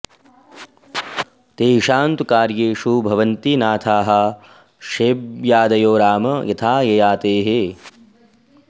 तेषां तु कार्येषु भवन्ति नाथाः शैब्यादयो राम यथा ययातेः